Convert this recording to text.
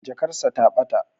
Jakar sa ta bata